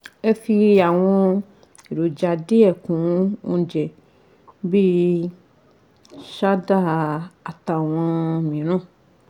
Ẹ fi àwọn èròjà díẹ̀ kún oúnjẹ bíi sádà àtàwọn mìíràn